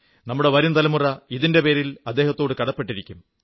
നമ്മുടെ വരും തലമുറ ഇതിന്റെ പേരിൽ അദ്ദേഹത്തോടു കടപ്പെട്ടിരിക്കും